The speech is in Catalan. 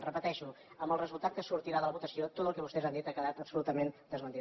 ho repeteixo amb el resultat que sortirà ara de la votació tot el que vostès han dit ha quedat absolutament desmentit